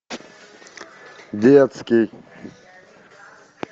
детский